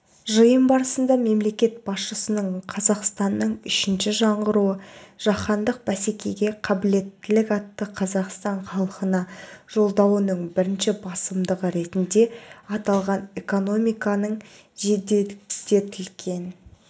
жиын барысында мемлекет басшысының қазақстанның үшінші жаңғыруы жаһандық бәсекеге қабілеттілік атты қазақстан халқына жолдауының бірінші басымдығы ретінде аталған экономиканың жеделдетілген